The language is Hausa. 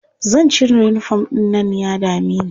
Zan cire uniform ɗin nan ya dame ni.